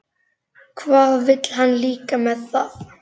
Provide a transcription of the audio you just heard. Hvað vill hann líka með það?